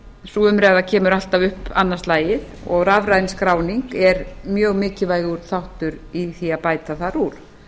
sú umræða kemur alltaf upp annað slagið og rafræn skráning er mjög mikilvægur þáttur í því að bæta þar úr